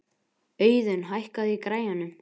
Auðun, hækkaðu í græjunum.